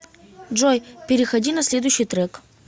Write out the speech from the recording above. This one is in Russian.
джой переходи на следующий трек